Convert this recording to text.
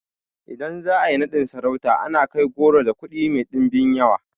Idan za a yi naɗin sarauta ana kai goro da kuɗi mai ɗimbin yawa